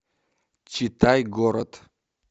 читай город